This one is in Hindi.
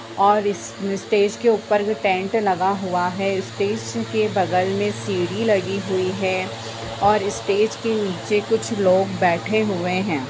और इस स्टेज पे ऊपर भी पेंट लगा हुआ है स्टेज के बगल में सीढ़ी लगी हुई है और स्टेज के नीचे कुछ लोग बैठे हुए हैं।